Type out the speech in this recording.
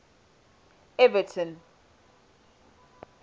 everton